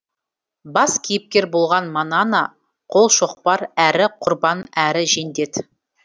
бас кейіпкер болған манана қолшоқпар әрі құрбан әрі жендет